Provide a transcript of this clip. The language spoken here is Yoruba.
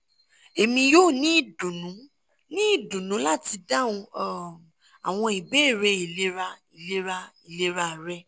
emi yoo ni idunnu ni idunnu lati dahun um awọn ibeere ilera ilera ilera rẹ